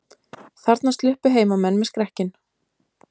Þarna sluppu heimamenn með skrekkinn